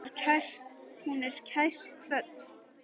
Hún er kært kvödd.